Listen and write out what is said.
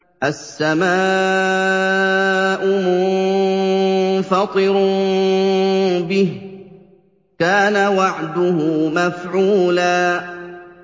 السَّمَاءُ مُنفَطِرٌ بِهِ ۚ كَانَ وَعْدُهُ مَفْعُولًا